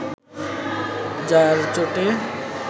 যার চোটে